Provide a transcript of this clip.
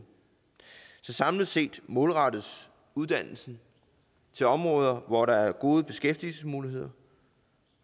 samlet set målrettes uddannelsen til områder hvor der er gode beskæftigelsesmuligheder